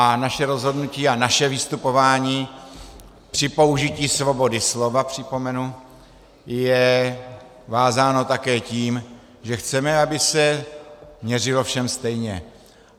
A naše rozhodnutí a naše vystupování při použití svobody slova, připomenu, je vázáno také tím, že chceme, aby se měřilo všem stejně.